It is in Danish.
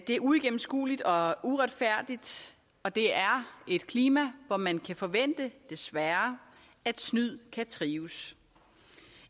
er uigennemskueligt og uretfærdigt og det er et klima hvor man kan forvente desværre at snyd kan trives